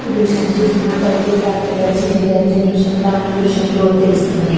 ఈ దృశ్యాన్ని చూస్తున్నట్టయితే ఇది రాత్రి వేళ చిత్రీకరించి దృస్యంలా మన దృశ్యంలో తెలుస్తున్నది.